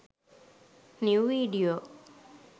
new video